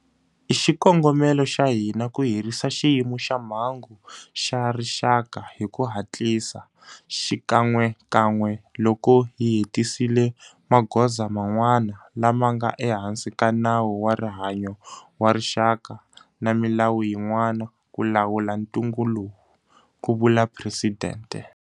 I xikongomelo xa hina ku herisa Xiyimo xa Mhangu xa Rixaka hi ku hatlisa xikan'wekan'we loko hi hetisisile magoza man'wana lama nga ehansi ka Nawu wa Rihanyo wa Rixaka na milawu yin'wana ku lawula ntungu lowu, ku vula Presidente.